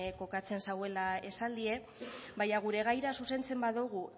kokatzen zuela esaldia baina gure gaira zuzentzen badugu